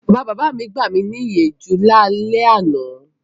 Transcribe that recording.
Bàbabàbá mi gbami níyànjú lálẹ́ àná.